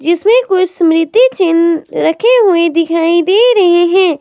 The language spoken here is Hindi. जिसमें कोई स्मृति चिन्ह रखी हुई दिखाई दे रही है।